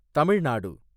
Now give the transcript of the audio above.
தமிழ் நாடு